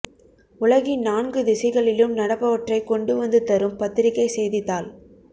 உலகின் நான்கு திசைகளிலும் நடப்பவற்றைக் கொண்டு வந்து தரும் பத்திரிகை செய்தித்தாள்